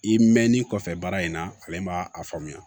I mɛnni kɔfɛ baara in na ale b'a faamuya